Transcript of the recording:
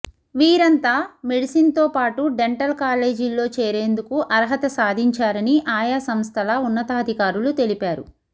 వీరంతా మెడిసిన్తో పాటు డెంటల్ కాలేజీల్లో చేరేందుకు అర్హత సాధించారని ఆయా సంస్థల ఉన్నతాధికారులు తెలిపారు